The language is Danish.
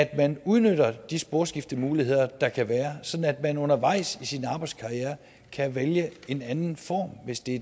at man udnytter de sporskiftemuligheder der kan være sådan at man undervejs i sin arbejdskarriere kan vælge en anden form hvis det